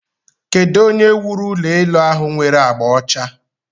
Kedu onye wuru ulo elu ahụ nwere agba ọcha?